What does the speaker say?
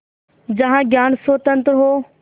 जहाँ ज्ञान स्वतन्त्र हो